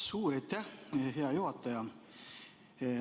Suur aitäh, hea juhataja!